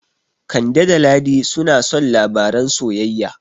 Kande da Ladi suna son labaran soyayya.